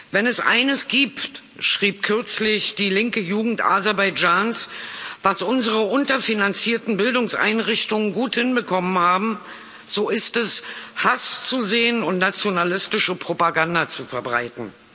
Wenn es eines gibt, schrieb kürzlich die linke Jugend Aserbaidschans, was unsere unterfinanzierten Bildungseinrichtungen gut hinbekommen haben, so ist es, Hass zu säen und nationalistische Propaganda zu verbreiten.